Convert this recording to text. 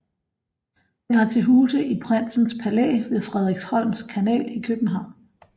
Det har til huse i Prinsens Palæ ved Frederiksholms Kanal i København